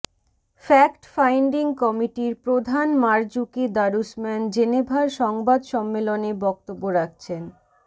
fact finding কমিটির প্রধান Marzuki Darusman জেনেভার সংবাদ সম্মেলনে বক্তব্য রাখছেন